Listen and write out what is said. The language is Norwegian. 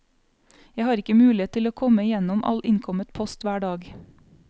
Jeg har ikke mulighet til å komme igjennom all innkommet post hver dag.